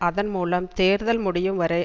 அதன் மூலம் தேர்தல் முடியும் வரை